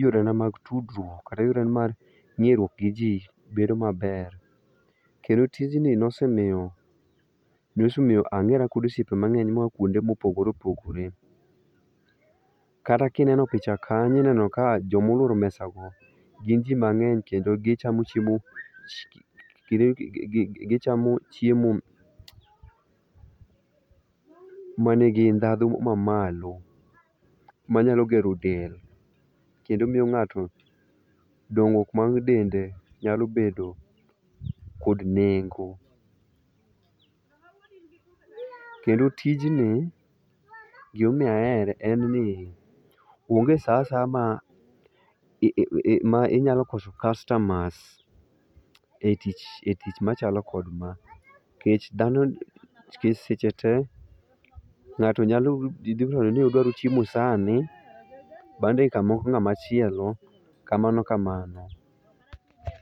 yorena mag tudruok kata mag ng'eruok giji bedo maber. Kendo tijni nosemiyo, nosemiyo ang'era kod osiepe mang'eny moa kuonde mopogore opogore. Kata ka ineno picha kanyo ineno ka joma oluoro mesano gin ji mang'eny kendo gichamo chiemo gichamo chiemo mani gi ndhadhu mamalo manyalo gero del kendo miyo ng'ato dongruok mar dende nyalo bedo kod nengo. Kendo tijni gima omiyo ahere en ni onge saa asaya ma inyalo koso kastamas e tich machalo kod ma nikech dhano nikech seche te ng'ato ji nyalo dwaro ni dwaro chiemo sani, dakika matin ng'ama chielo kamano kamano.